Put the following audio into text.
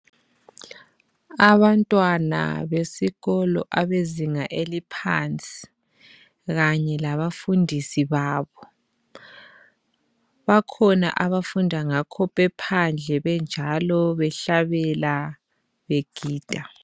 Abantwana besikolo abezinga eliphansi, kanye labafundisi babo, bakhona abafunda ngakho bephandle benjalo behlabela begida.